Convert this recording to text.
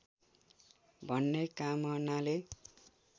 भन्ने कामनाले